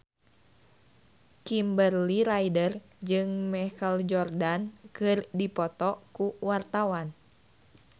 Kimberly Ryder jeung Michael Jordan keur dipoto ku wartawan